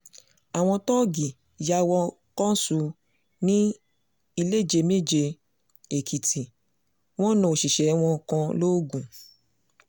àwọn tóògì yà wò kánṣu ní iléjeméje-èkìtì wọn náà òṣìṣẹ́ wọn kan lóògùn